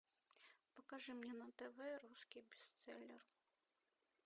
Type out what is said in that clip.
покажи мне на тв русский бестселлер